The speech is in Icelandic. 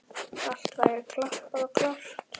Allt væri klappað og klárt.